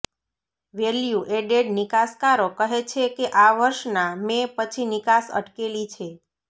value added નિકાસકારો કહે છે કે આ વર્ષના મે પછી નિકાસ અટકેલી છે